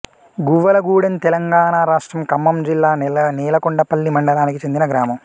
గువ్వలగూడెంతెలంగాణ రాష్ట్రం ఖమ్మం జిల్లా నేలకొండపల్లి మండలానికి చెందిన గ్రామం